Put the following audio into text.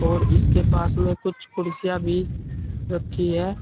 और इसके पास में कुछ कुर्सियां भी रखी है।